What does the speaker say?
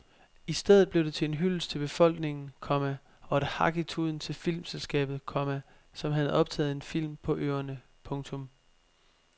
I stedet blev det til en hyldest til befolkningen, komma og et hak i tuden til filmselskabet, komma som havde optaget en film på øerne. punktum